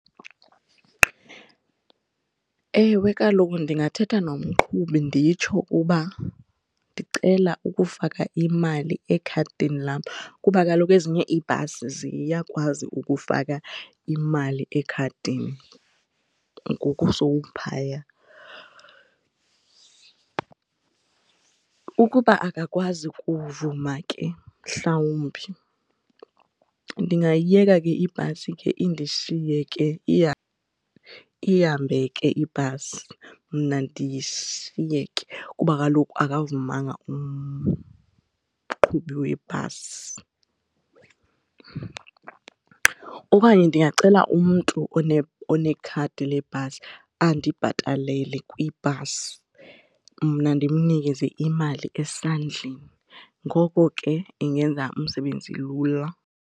Ewe, kaloku ndingathetha nomqhubi nditsho ukuba ndicela ukufaka imali ekhadini lam kuba kaloku ezinye iibhasi ziyakwazi ukufaka imali ekhadini ngoku sowuphaya. Ukuba akakwazi ukuvuma ke mhlawumbi ndingayiyeka ke ibhasi ke indishiye ke ihambe ke ibhasi mna ndishiyeke kuba kaloku akavumanga umqhubi webhasi. Okanye ndingacela umntu onekhadi lebhasi andibhatalele kwibhasi mna ndimnikeze imali esandleni. Ngoko ke ingenza umsebenzi lula.